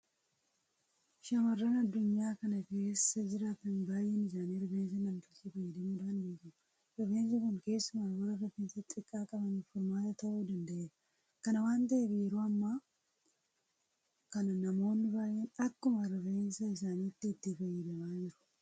Shaamarran addunyaa kana keessa jiraatan baay'een isaanii rifeensa namtolchee fayyadamuudhaan beekamu. Rifeensi kun keessumaa warra rifeensa xiqqaa qabaniif furmaata ta'uu danda'eera. Kana waanta ta'eef yeroo ammaa kana namoonni baay'een akkuma rifeensa isaaniitti itti fayyadamaa jiru.